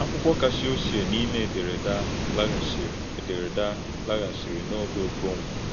Akwụkwọ kacha ochie n’ime ederede ahụ laghachiri ederede ahụ laghachiri n’oge Okonkwo.